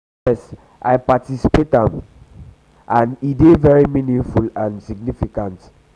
yes i participate am and e dey very meaningful and significant.